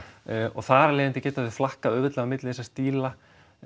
og þar af leiðandi geta þau flakkað auðveldlega á milli þessara stíla